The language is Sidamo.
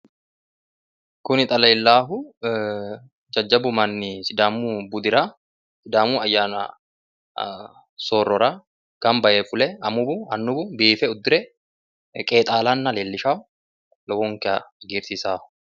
kuni xa leellaahu jajjabbu manni sidaamu budira sidaamu ayyanni soorrora gamba yee fule amuwuna annuwu biife uddire qeexaalanna leellishanno lowonta hagiirsiisanno.